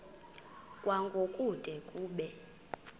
kwango kude kube